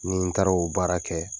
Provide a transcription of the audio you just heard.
Ni n taara o baara kɛ.